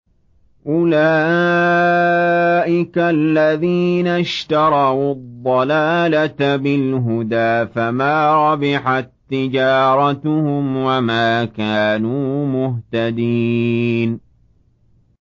أُولَٰئِكَ الَّذِينَ اشْتَرَوُا الضَّلَالَةَ بِالْهُدَىٰ فَمَا رَبِحَت تِّجَارَتُهُمْ وَمَا كَانُوا مُهْتَدِينَ